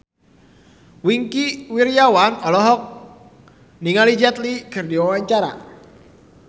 Wingky Wiryawan olohok ningali Jet Li keur diwawancara